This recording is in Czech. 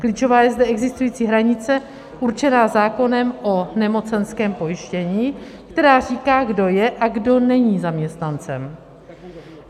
Klíčová je zde existující hranice určená zákonem o nemocenském pojištění, která říká, kdo je a kdo není zaměstnancem.